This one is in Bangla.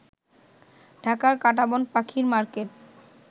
ঢাকার কাঁটাবন পাখি মার্কেট